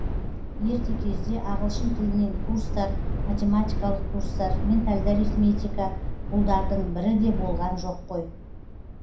ерте кезде ағылшын тілінен курстар математикалық курстар ментальды арифметика бұлдардың бірі де болған жоқ қой